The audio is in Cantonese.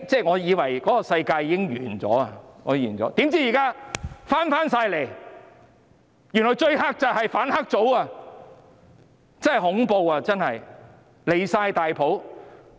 我以為那個世界已經終結了，怎料現在全部變回來，原來最黑的就是反黑組，真恐怖！